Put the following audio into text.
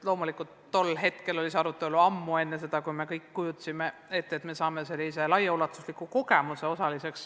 Loomulikult oli tol hetkel see arutelu all, ammu enne seda, kui oskasime ette kujutada, et saame sellise laiaulatusliku kogemuse osaliseks.